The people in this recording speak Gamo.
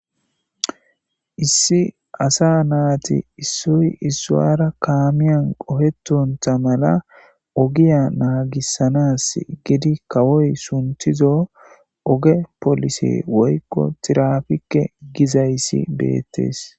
Issi asa naati issoy issuwara kaamiyan qohetontha mala ogiya naagissanas gidi kawoy sunthizo oge polise woykko tirafikke gizayssi beettes.